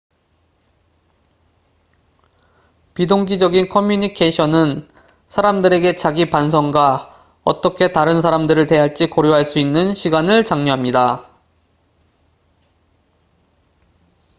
비동기적인 커뮤니케이션은 사람들에게 자가 반성과 어떻게 다른 사람들을 대할지 고려할 수 있는 시간을 장려합니다